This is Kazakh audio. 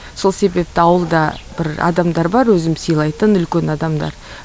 сол себепті ауылда бір адамдар бар өзім сыйлайтын үлкен адамдар